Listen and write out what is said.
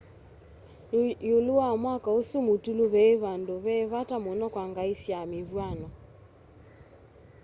iulu wa mwako usu mutulu ve vandu ve vata muno kwa ngai sya mivw'ano